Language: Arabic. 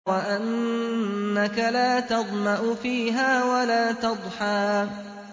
وَأَنَّكَ لَا تَظْمَأُ فِيهَا وَلَا تَضْحَىٰ